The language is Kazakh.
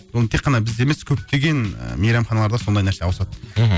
оны тек қана бізде емес көптеген ы мейрамханаларда сондай нәрсе ауысады мхм